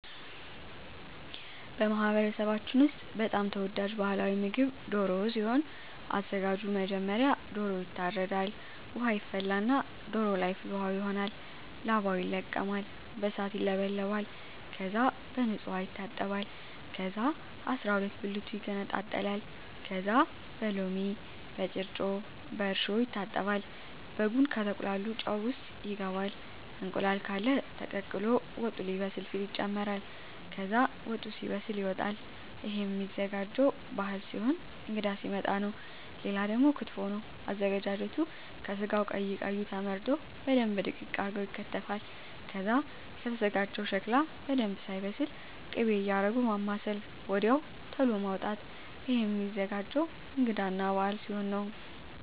በማህበረሰባችን ውስጥ በጣም ተወዳጅ ባህላዊ ምግብ ደሮ ሲሆን አዘጋጁ መጀመሪያ ዶሮዎ ይታረዳል ውሃ ይፈላና ዶሮዎ ለይ ፍል ውሃው ይሆናል ላባው ይለቀማል በእሳት ይውለበለባል ከዛ በንጹህ ዉሃ ይታጠባል ከዛ አስራሁለት ብልቱ ይገነጣጠላል ከዛ በሎሚ በጭረጮ በእርሾ ይታጠባል በጉን ከተቁላላው ጨው ውሰጥ ይገባል እንቁላል ቃለ ተቀቅሎ ወጡ ሌበስል ሲል ይጨምራል ከዛ ወጡ ሲበስል ይወጣል እሄም ሚዘጋጀው ባህል ሲሆን እንግዳ ሲመጣ ነው ሌላው ደግሞ ክትፎ ነው አዘገጃጀቱ ከስጋው ቀይ ቀዩ ተመርጠው በደንብ ድቅቅ አርገው ይከተፋል ከዛ ከተዘጋጀው ሸክላ በደንብ ሳይበስል ክቤ እያረጉ ማማሰል ወድያው ተሎ ማዉጣት እሄም ሚዘገጀው እንግዳ እና በአል ሲሆን ነው